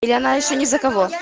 или она ещё не за кого